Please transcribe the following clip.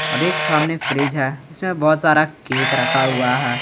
और एक सामने फ्रिज है इसमें बहुत सारा केक रखा हुआ है।